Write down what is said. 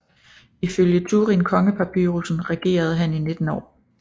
Ifølge Turin kongepapyrusen regerede han i 19 år